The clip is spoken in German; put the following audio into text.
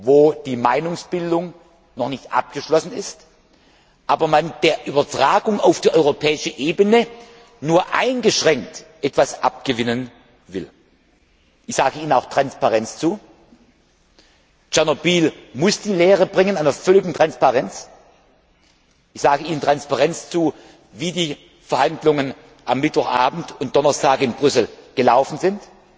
wo die Meinungsbildung noch nicht abgeschlossen ist, man der Übertragung auf die europäische Ebene aber nur eingeschränkt etwas abgewinnen will. Ich sage Ihnen auch Transparenz zu. Aus Tschernobyl müssen wir die Lehre der völligen Transparenz ziehen. Ich sage Ihnen Transparenz in der Frage zu, wie die Verhandlungen am Mittwoch Abend und Donnerstag in Brüssel gelaufen